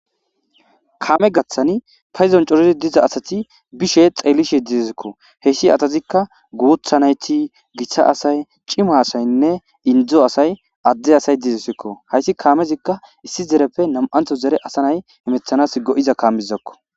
Kaame gaththani payizon corizi diza asati bishe xeellishe didezekko heyssi atazikka guuthanayti gissa asay cima asaynne indzo asay adde asay didesekko hayssi kaamezikka issi zereppe nam7antho zere asanay imethanas go7iza kaamizakko.